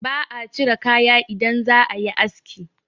ba a cire kaya idan za a yi aski